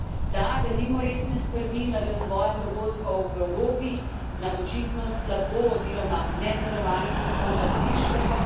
Da, delimo resne skrbi nad razvojem dogodkov v Evropi, nad očitno slabo oziroma nenadzorovanim prihodom prišlekov.